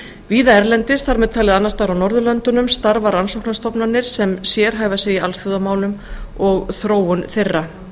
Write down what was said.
víða erlendis þar með talið annars staðar á norðurlöndum starfa rannsóknarstofnanir sem sérhæfa sig í alþjóðamálum og þróun þeirra